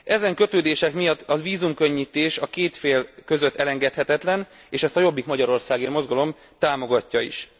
Ezen kötődések miatt a vízumkönnyítés a két fél között elengedhetetlen, és ezt a Jobbik Magyarországért Mozgalom támogatja is.